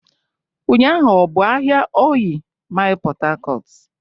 Ụnyaahụ ọ bụ ahịa Ọịyị Mịl Port Harcourt?